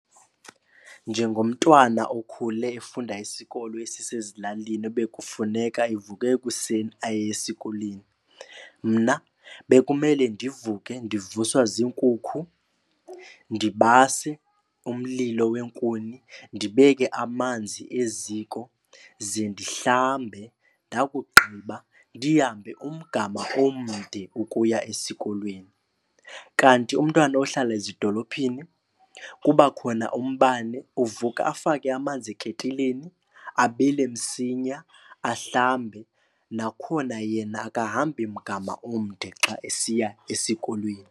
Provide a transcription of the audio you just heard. Njengomntwana okhule efunda isikolo esisezilalini ebekufuneka evuke ekuseni aye esikolweni, mna bekumele ndivuke ndivuswa ziinkukhu, ndibase umlilo weenkuni, ndibeke amanzi eziko ze ndihlambe. Ndakugqiba ndihambe umgama omde ukuya esikolweni. Kanti umntwana ohlala ezidolophini kuba khona umbane. Uvuka afake amanzi eketileni, abile msinya, ahlambe. Nakhona yena akahambi mgama omde xa esiya esikolweni.